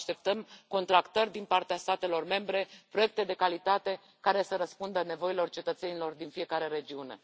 Așteptăm contractări din partea statelor membre, proiecte de calitate care să răspundă nevoilor cetățenilor din fiecare regiune.